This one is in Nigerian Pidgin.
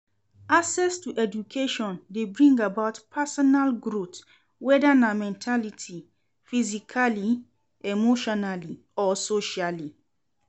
Access to education de bring about personal growth whether na mentality ,physically, emotionall or socially